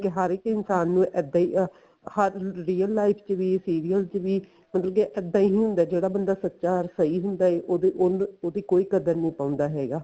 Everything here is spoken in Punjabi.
ਹਰ ਇੱਕ ਇਨਸਾਨ ਨੂੰ ਇੱਦਾਂ ਹੀ ਹਰ real life ਚ ਵੀ serial ਚ ਵੀ ਹੁਣ ਜੇ ਇੱਦਾਂ ਹੀ ਹੁੰਦਾ ਜਿਹੜਾ ਬੰਦਾ ਸੱਚਾ ਸਹੀ ਹੁੰਦਾ ਐ ਉਹਦੀ ਉਹਨੂੰ ਉਹਦੀ ਕੋਈ ਕਦਰ ਨੀ ਪਾਉਂਦਾ ਹੈਗਾ